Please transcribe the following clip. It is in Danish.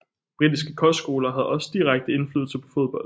Britiske kostskoler havde også direkte indflydelse på fodbold